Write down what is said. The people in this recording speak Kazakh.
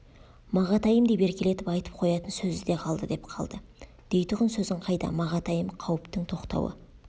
мағатайым деп еркелетіп айтып қоятын сөзі де қалды деп қалды дейтұғын сөзің қайда мағатайым қауіптің тоқтауы